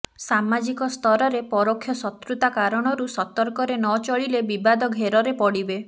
ସାମାଜିକ ସ୍ତରରେ ପରୋକ୍ଷ ଶତ୍ରୁତା କାରଣରୁ ସତର୍କରେ ନ ଚଳିଲେ ବିବାଦ ଘେରରେ ପଡ଼ିବେ